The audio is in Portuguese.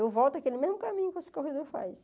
Eu volto aquele mesmo caminho que os corredor faz.